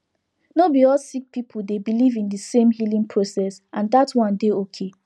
no be all sik pipul dey biliv in di sem healing process and dat one dey okay